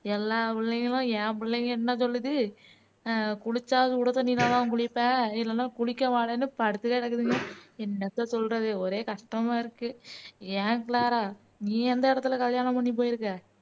எல்லா புள்ளைங்களும் என் புள்ளைங்க என்ன சொல்லுது குளிச்சா சுடு தண்ணியில தான் குளிப்பேன் இல்லன்னா குளிக்க மாட்டேன்னு படுத்து கிடக்குதுங்க என்னத்த சொல்றது ஒரே கஷ்டமா இருக்கு ஏன் க்ளாரா நீ எந்த இடத்துல கல்யாணம் பண்ணி போயிருக்க